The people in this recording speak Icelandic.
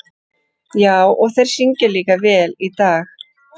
Já, og þeir syngja líka vel í dag.